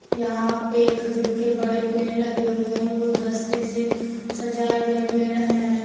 यहां पे खजूर के बड़े पेड़ लगे हुए है गुलदस्ते से सजाए गए पेड़ हैं।